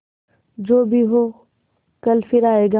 जो भी हो कल फिर आएगा